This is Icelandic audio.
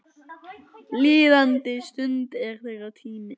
Líðandi stund er þeirra tími.